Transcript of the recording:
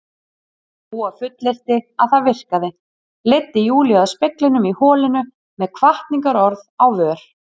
Dúa fullyrti að það virkaði, leiddi Júlíu að speglinum í holinu með hvatningarorð á vör.